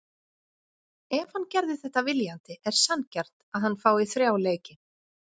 Ef hann gerði þetta viljandi er sanngjarnt að hann fái þrjá leiki.